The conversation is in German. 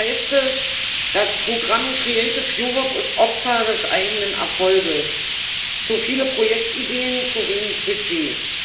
Im Bericht heißt es Das Programm Kreatives Europa ist Opfer des eigenen Erfolgs zu viele Projektideen, zu wenig Budget.